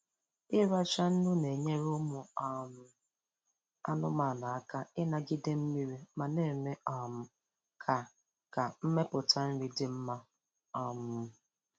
Ịracha nnu na-enyere ụmụ um anụmanụ aka ịnagide mmiri ma na-eme um ka ka mmeputa nri dị mma. um